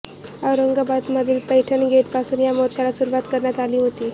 औरंगाबाद मधील पैठण गेट पासून या मोर्चाला सुरुवात करण्यात आली होती